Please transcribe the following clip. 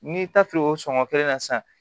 N'i taar'o sɔngɔ kelen na sisan